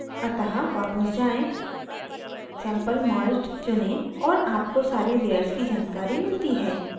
अतः वापस जाएँ sample merged चुनें और आपको सारी layers की जानकारी मिलती है